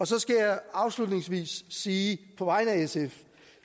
så skal jeg afslutningsvis hilse sige på vegne af sf